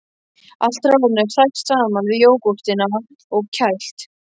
Allt hráefnið er hrært saman við jógúrtina og kælt.